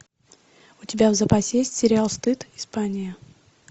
у тебя в запасе есть сериал стыд испания